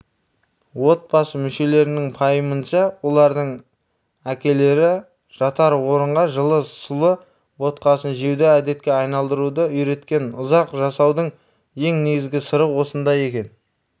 отбасы мүшелерінің пайымынша олардың әкелері жатар орынға жылы сұлы ботқасын жеуді әдетке айналдыруды үйреткен ұзақ жасаудың ең негізгі сыры осында екен